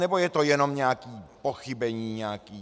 Nebo je to jenom nějaké pochybení?